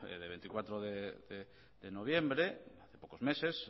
de veinticuatro de noviembre hace pocos meses